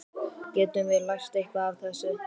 Getum við lært eitthvað af þessu?